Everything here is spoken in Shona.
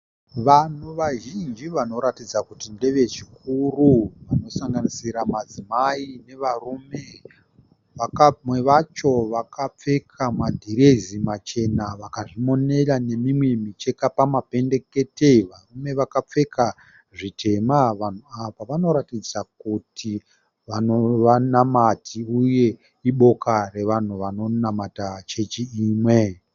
Vanhu vazhinji vanoratidza kuti ndevechikuru vanosanganisira madzimai nevarume. Vamwe vacho vakapfeka madhirezi machena vakazvimonera nemimwe micheka pamapendekete. Varume vakapfeka zvitema. Vanhu ava vanoratidza kuti vanamati uye iboka revanhu vanonamata chechi imwe.